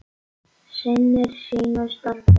Sinnir sínu starfi.